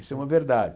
Isso é uma verdade.